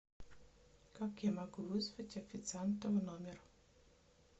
как я могу вызвать официанта в номер